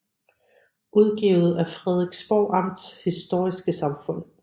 Udgivet af Frederiksborg Amts Historiske Samfund